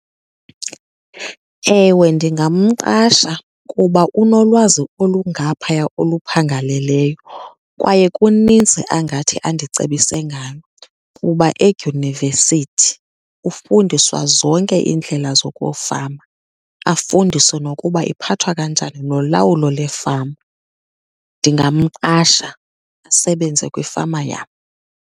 Ewe, ndingamqasha kuba unolwazi olungaphaya oluphangaleleyo kwaye kunintsi angathi andicebise ngalo. Kuba edyunivesithi ufundiswa zonke iindlela zokufama, afundiswe nokuba iphathwa kanjani nolawulo leefama. Ndingamqasha asebenze kwifama yam.